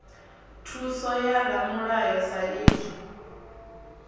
thuso ya ramulayo sa idzwo